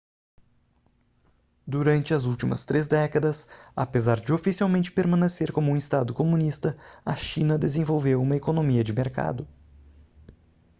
durante as últimas três décadas apesar de oficialmente permanecer como um estado comunista a china desenvolveu uma economia de mercado